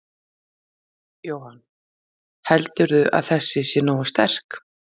Jóhann: Heldurðu að þessi sé nógu sterk?